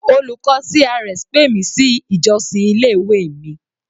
Olùkọ́ CRS pè mi sí ìjọ́sìn ilé ìwé mi.